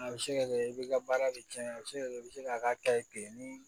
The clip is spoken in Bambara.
A bɛ se ka kɛ i bɛ ka baara de cɛn a bɛ se ka kɛ i bɛ se k'a ka kile